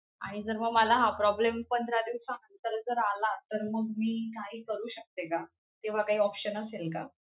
आणि जर मग मला हा problem पंधरा दिवसानंतर जर आला तर मग मी काही करू शकते का? तेव्हा काही option असेल का?